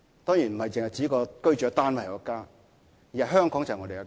當然，家不只是指居住的單位，而是說香港是我家。